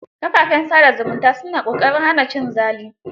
Kafafen sa da zumunta su na ƙoƙarin hana cin zali.